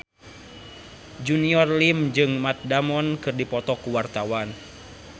Junior Liem jeung Matt Damon keur dipoto ku wartawan